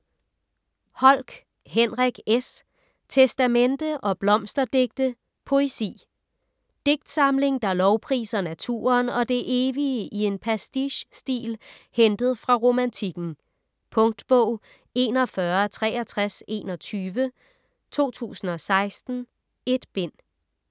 Holck, Henrik S.: Testamente & blomsterdigte: poesi Digtsamling der lovpriser naturen og det evige i en pastiche-stil hentet fra Romantikken. Punktbog 416321 2016. 1 bind.